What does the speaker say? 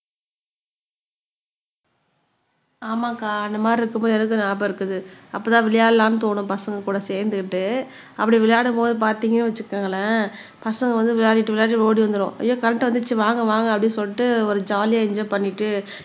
ஆமாக்கா அந்த மாதிரி இருக்கும்போது எனக்கு ஞாபகம் இருக்குது அப்பதான் விளையாடலாம்ன்னு தோணும் பசங்க கூட சேர்ந்துக்கிட்டு அப்படி விளையாடும்போது பார்த்தீங்கன்னு வச்சுக்கோங்களேன் பசங்க வந்து விளையாடிட்டு விளையாடிட்டு ஓடி வந்துரும் ஐயோ கரண்ட் வந்துருச்சு வாங்க வாங்க அப்படின்னு சொல்லிட்டு ஒரு ஜாலியா என்ஜோய் பண்ணிட்டு